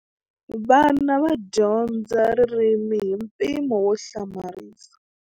Vana va dyondza ririmi hi mpimo wo hlamarisa.